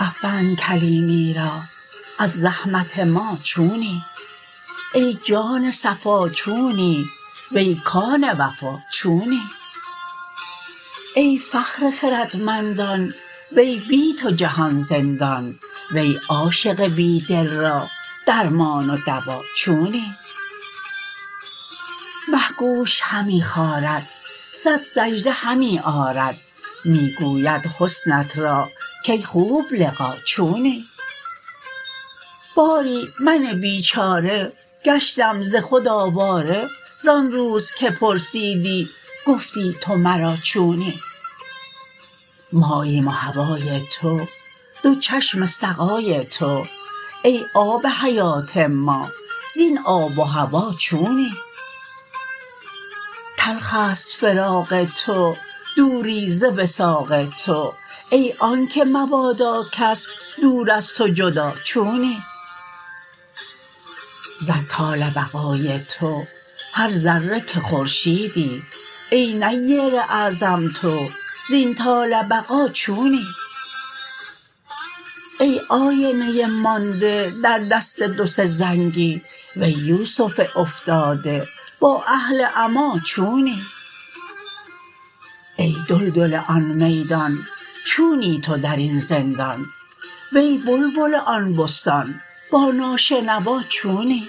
افند کلیمیرا از زحمت ما چونی ای جان صفا چونی وی کان وفا چونی ای فخر خردمندان وی بی تو جهان زندان وی عاشق بی دل را درمان و دوا چونی مه گوش همی خارد صد سجده همی آرد می گوید حسنت را کی خوب لقا چونی باری من بیچاره گشتم ز خود آواره زان روز که پرسیدی گفتی تو مرا چونی ماییم و هوای تو دو چشم سقای تو ای آب حیات ما زین آب و هوا چونی تلخ است فراق تو دوری ز وثاق تو ای آنک مبادا کس دور از تو جدا چونی زد طال بقای تو هر ذره که خورشیدی ای نیر اعظم تو زین طال بقا چونی ای آینه مانده در دست دو سه زنگی وی یوسف افتاده با اهل عما چونی ای دلدل آن میدان چونی تو در این زندان وی بلبل آن بستان با ناشنوا چونی